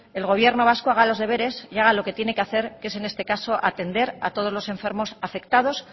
el gobierno vasco haga los deberes y haga lo que tiene que hacer que es en este caso atender a todos los enfermos afectados